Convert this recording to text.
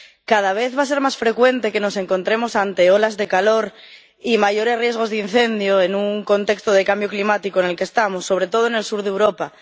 Cada vez va a ser más frecuente que nos encontremos ante olas de calor y mayores riesgos de incendio, en el contexto de cambio climático en el que estamos, sobre todo en el sur de Europa.